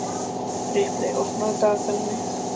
Ripley, opnaðu dagatalið mitt.